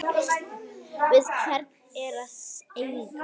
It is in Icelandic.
Við hvern er að eiga?